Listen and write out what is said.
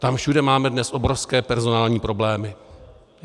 Tam všude máme dnes obrovské personální problémy.